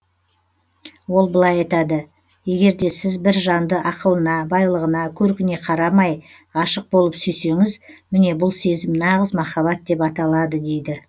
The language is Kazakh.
ол былай айтады егерде сіз бір жанды ақылына байлығына көркіне қарамай ғашық болып сүйсеңіз міне бұл сезім нағыз махаббат деп аталады дейді